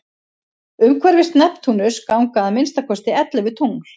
umhverfis neptúnus ganga að minnsta kosti ellefu tungl